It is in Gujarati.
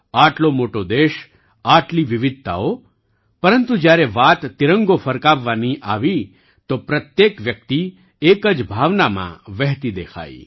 આટલો મોટો દેશ આટલી વિવિધતાઓ પરંતુ જ્યારે વાત તિરંગો ફરકાવવાની આવી તો પ્રત્યેક વ્યક્તિ એક જ ભાવનામાં વહેતી દેખાઈ